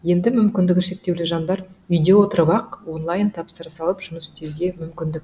енді мүмкіндігі шектеулі жандар үйде отырып ақ онлайын тапсырыс алып жұмыс істеуге мүмкіндік